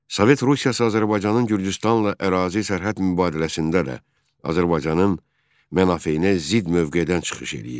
Sovet Rusiyası Azərbaycanın Gürcüstanla ərazi sərhəd mübadiləsində də Azərbaycanın mənafeyinə zidd mövqedən çıxış eləyirdi.